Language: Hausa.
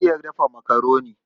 Na iya dafa makaroni.